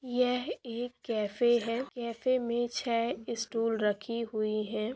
यह एक कैफ़े है कैफ़े में छह स्टूल रखी हुई है|